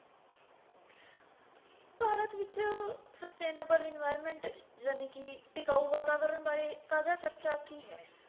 substainable environment ਜਾਣੀ ਕੀ ਟਿਕਾਊ ਵਾਤਾਵਰਨ ਬਾਰੇ ਤਾਜਾ ਚਰਚਾ ਕੀ ਹੈ